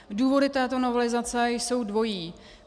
Důvody této novelizace jsou dvojí.